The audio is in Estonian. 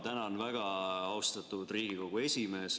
Tänan väga, austatud Riigikogu esimees!